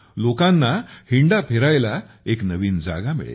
लोकांना हिंडायला एक नवीन जागा मिळेल